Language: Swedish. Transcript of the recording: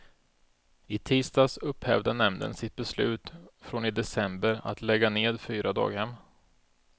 I tisdags upphävde nämnden sitt beslut från i december att lägga ned fyra daghem.